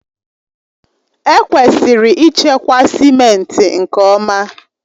Ekwesịrị ịchekwa simenti nke ọma.